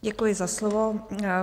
Děkuji za slovo.